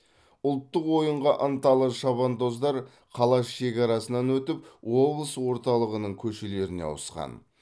ұлттық ойынға ынталы шабандоздар қала шекарасынан өтіп облыс орталығының көшелеріне ауысқан